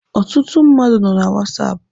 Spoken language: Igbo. Ọtụtụ mmadụ nọ na whatsapp